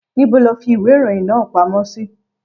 Níbo lo fi ìwé ìròyìn náà pamọ́ sí?